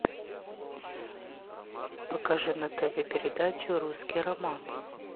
покажи на тв передачу русский роман